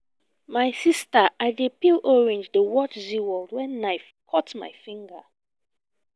my sister i dey peel orange dey watch zeaworld wen knife cut my finger